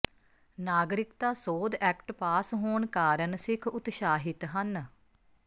ਨਾਗਰਿਕਤਾ ਸੋਧ act pass ਹੋਣ ਕਾਰਨ ਸਿੱਖ ਉਤਸ਼ਾਹਿਤ ਹਨ